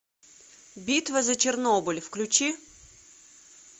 битва за чернобыль включи